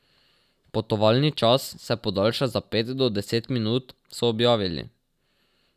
Potovalni čas se podaljša za pet do deset minut, so objavili.